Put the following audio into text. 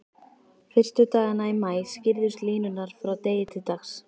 Fyrstu dagana í maí skýrðust línur frá degi til dags.